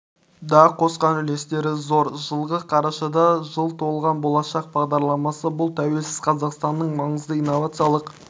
да қосқан үлестері зор жылғы қарашада жыл толған болашақ бағдарламасы бұл тәуелсіз қазақстанның маңызды инновациялық